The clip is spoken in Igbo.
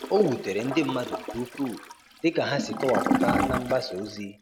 O wutere ndị mmadụ nke ukwuu dịka ha si kọwapụta na mgbasa ozi.